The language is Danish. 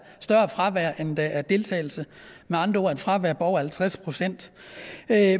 større fravær end der er deltagelse med andre ord et fravær på over halvtreds procent